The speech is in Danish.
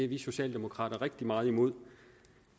vi socialdemokrater rigtig meget imod